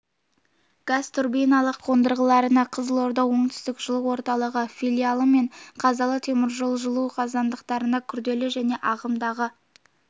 газ турбиналық қондырғыларына қызылорда оңтүстік жылу орталығы филиалы мен қазалы теміржолжылу қазандықтарына күрделі және ағымдағы